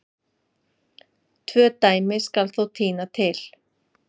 Tvö dæmi skal þó tína til.